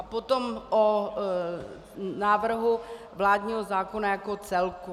A potom o návrhu vládního zákona jako celku.